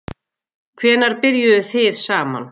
Hvenær byrjuðuð þið saman?